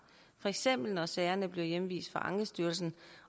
for eksempel når sagerne bliver hjemvist fra ankestyrelsen